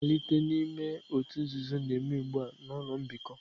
Mmalite n'ime òtù nzuzo na-eme ugbu a na ụlọ mbikọ